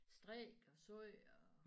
Strikke og sy og